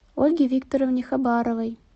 ольге викторовне хабаровой